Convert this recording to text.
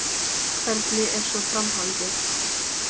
Hvernig er svo framhaldið?